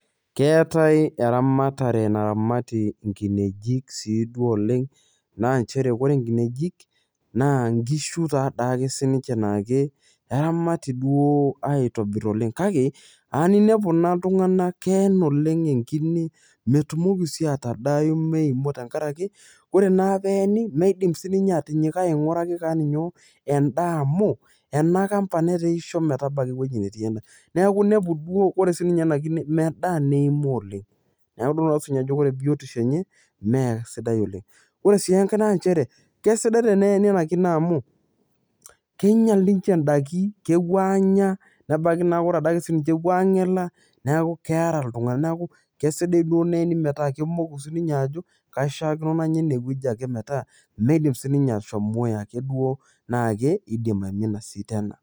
Keetai eramatare naramati nkinejik siduo oleng, naa nchere ore nkinejik naa nkishu tadake sinche na nchere nkishu taake sinche na nche keramati si duo aitobir oleng, kake ainepu ltunganak keen oleng enkine metumoki si atadai tenkaraki ore naa peeni meidim naa sininye atinyikae ainguraki kewon nyoo endaa amu enakamba nemeisho metabaki ai wueji netii endaa, neaku inepu duo ore sininye enakine medaa ,neaku idol ake sinye ajo ore biotisho enye mesidai oleng ore sii enkae na nchere, kesidai eneeni enakine amu keinyel ninche ndakin, kepuo anyaa nebaki ade ake sininche nepuo angelaa neaku keara ltunganak neaku kesidai duo naji metaa kemoki sinye ajo keishaakino nanya ene wueji ake metaa meidim sininye ake ashomo duo ajo manya enasita ena.